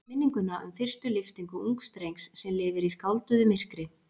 Minninguna um fyrstu lyftingu ungs drengs sem lifir í skálduðu myrkri.